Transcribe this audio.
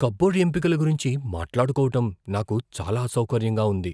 Cupboard ఎంపికల గురించి మాట్లాడుకోవటం నాకు చాలా అసౌకర్యంగా ఉంది.